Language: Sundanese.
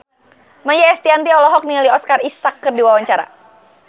Maia Estianty olohok ningali Oscar Isaac keur diwawancara